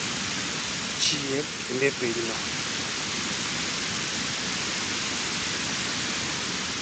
chier kendo e pinyno.